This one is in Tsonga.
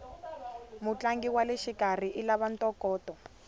mutlangi waleshikarhi ilava ntokoto